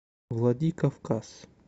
владикавказ